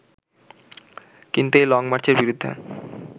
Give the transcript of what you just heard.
কিন্তু এই লংমার্চের বিরুদ্ধে